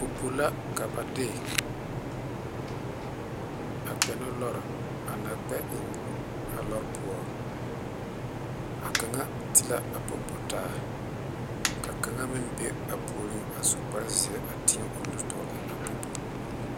Popo la ka ba de kpɛ ne lɔɔre a na kpɛ eŋ a lɔɔre poɔ a kaŋa te la a popo taa ka kaŋe meŋ be a puoriŋ suu kpaare zeɛ are a popo.